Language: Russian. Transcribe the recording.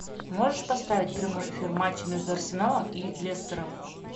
можешь поставить прямой эфир матча между арсеналом и лестером